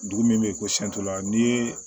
Dugu min bɛ ko siyɛn fɔlɔ ni